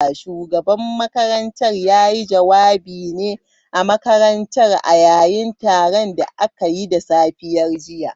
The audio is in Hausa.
Shugaban makarantar ya yi jawabi ne a makarantar a yayin taron da aka yi da safiyar jiya.